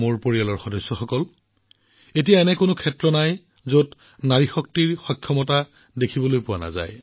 মোৰ পৰিয়ালৰ সদস্যসকল আজি জীৱনৰ এনে কোনো ক্ষেত্ৰ নাই যত আমি নাৰী শক্তিৰ শক্তিক দেখা নাই